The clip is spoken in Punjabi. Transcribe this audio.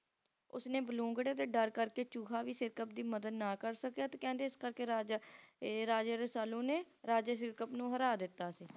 ਉਸ ਦੇ ਬਲੂੰਗੜੇ ਦੇ ਡਰ ਕਰਕੇ ਚੂਹਾ ਵੀ Sirkap ਦੀ ਮਦਦ ਨਾ ਕਰ ਸਕਿਆ ਤੇ ਕਹਿੰਦੇ ਇਸ ਕਰਕੇ ਰਾਜਾ ਏ Raja Rasalu ਨੇ Raja Sirkap ਨੂੰ ਹਰਾ ਦਿੱਤਾ ਸੀ